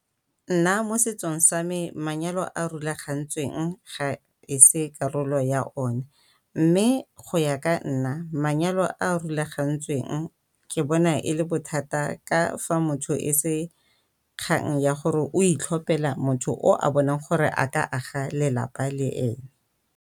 Nna mo setsong sa me manyalo a a rulagantsweng ga e se karolo ya o ne, mme go ya ka nna manyalo a a rulagantsweng ke bona e le bothata ka fa motho e se kgang ya gore o itlhophela motho o a bonang gore a ka aga lelapa le ene.